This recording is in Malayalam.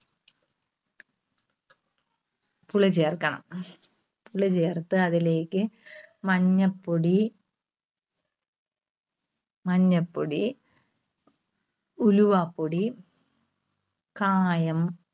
പുളി ചേർക്കണം. പുളി ചേർത്ത് അതിലേക്ക് മഞ്ഞപ്പൊടി, മഞ്ഞപ്പൊടി, ഉലുവാപ്പൊടി, കായം,